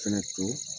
Fɛnɛ to